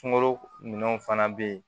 Sunkalo minɛnw fana bɛ yen